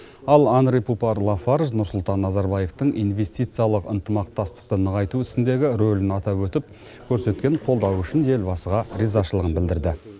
ал анри пупар лафарж нұрсұлтан назарбаевтың инвестициялық ынтымақтастықты нығайту ісіндегі рөлін атап өтіп көрсеткен қолдауы үшін елбасыға ризашылығын білдірді